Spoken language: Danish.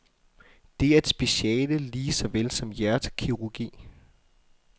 Det er et speciale lige såvel som hjertekirurgi.